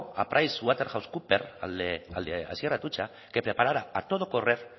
a price waterhouse cooper al de asier atutxa que preparara a todo correr